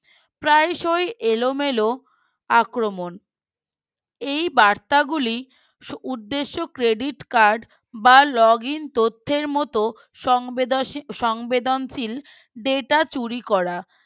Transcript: প্রায়শই এলোমেলো আক্রমণ। এই বার্তাগুলি উদ্দেশ্য Credit Card বা Login তথ্যের মতো সংবেদনশী সংবেদনশীল data চুরি করা